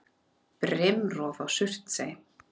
Brimrof á Surtsey.